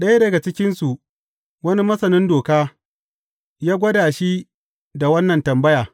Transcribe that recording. Ɗaya daga cikinsu, wani masanin Doka, ya gwada shi da wannan tambaya.